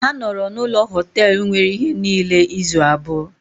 Ha nọrọ n’ụlọ Họtelu nwere ihe niile izu abụọ.